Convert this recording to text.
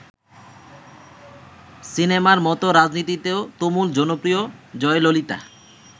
সিনেমার মত রাজনীতিতেও তুমুল জনপ্রিয় জয়ললিতা।